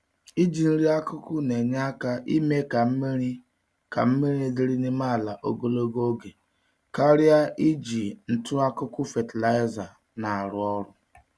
Iji nri-akụkụ nenye àkà ime ka mmiri ka mmiri dịrị n'ime ala ogologo oge, karịa iji ntụ-akụkụ fatịlaịza n'arụ ọrụ